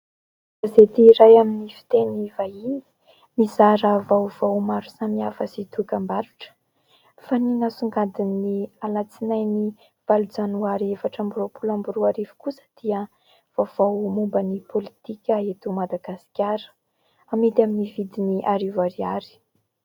Gazety iray amin'ny fiteny vahiny, mizara vaovao maro samihafa sy dokam-barotra. Fa ny nasongadiny ny Alatsinainy valo janoary efatra amby roapolo amby roa arivo kosa dia vaovao momban'ny pôlitika eto Madagasikara. Amidy amin'ny vidiny arivo ariary.